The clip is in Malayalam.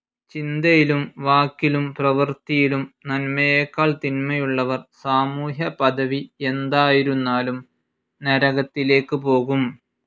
ചിന്തയിലും വാക്കിലും പ്രവൃത്തിയിലും നന്മയെക്കാൾ തിന്മയുള്ളവർ സാമൂഹ്യപദവി എന്തായിരുന്നാലും നരകത്തിലേക്ക് പോകും.